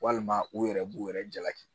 Walima u yɛrɛ b'u yɛrɛ jalaki